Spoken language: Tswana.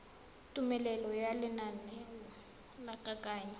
tumelelo ya lenaneo la kananyo